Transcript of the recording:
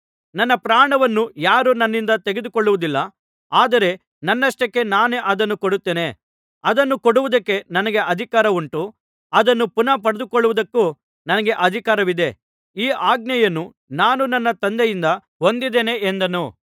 ನನ್ನ ಪ್ರಾಣವನ್ನು ಯಾರೂ ನನ್ನಿಂದ ತೆಗೆದುಕೊಳ್ಳುವುದಿಲ್ಲ ಆದರೆ ನನ್ನಷ್ಟಕ್ಕೆ ನಾನೇ ಅದನ್ನು ಕೊಡುತ್ತೇನೆ ಅದನ್ನು ಕೊಡುವುದಕ್ಕೆ ನನಗೆ ಅಧಿಕಾರ ಉಂಟು ಅದನ್ನು ಪುನಃ ಪಡೆದುಕೊಳ್ಳುವುದಕ್ಕೂ ನನಗೆ ಅಧಿಕಾರವಿದೆ ಈ ಆಜ್ಞೆಯನ್ನು ನಾನು ನನ್ನ ತಂದೆಯಿಂದ ಹೊಂದಿದ್ದೇನೆ ಎಂದನು